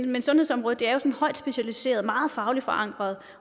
men sundhedsområdet er jo højt specialiseret og meget fagligt forankret